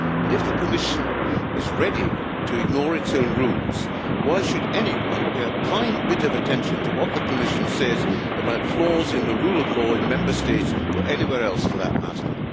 If the Commission is ready to ignore its own rules, why should anyone pay a blind bit of attention to what the Commission says about flaws in the rule of law in Member States or anywhere else for that matter?